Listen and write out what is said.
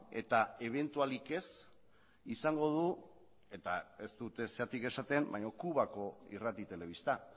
eta ebentualik ez izango du eta ez dut ezergatik esaten baina kubako irrati telebista